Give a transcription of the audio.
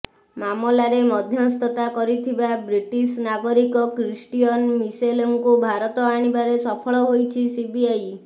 ମାମଲାରେ ମଧ୍ୟସ୍ଥତା କରିଥିବା ବ୍ରିଟିଶ୍ ନାଗରିକ କ୍ରିଷ୍ଟିୟନ ମିସେଲଙ୍କୁ ଭାରତ ଆଣିବାରେ ସଫଳ ହୋଇଛି ସିବିଆଇ